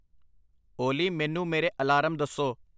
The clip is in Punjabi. ਓਲੀ ਮੈਨੂੰ ਮੇਰੇ ਅਲਾਰਮ ਦੱਸੋ।